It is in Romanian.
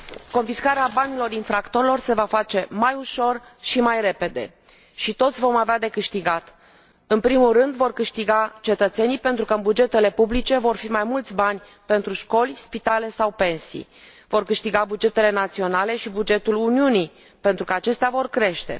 Confiscarea banilor infractorilor se va face mai ușor și mai repede și toți vom avea de câștigat. În primul rând, vor câștiga cetățenii pentru că, în bugetele publice, vor fi mai mulți bani pentru școli, spitale sau pensii. Vor câștiga bugetele naționale și bugetul Uniunii, pentru că acestea vor crește.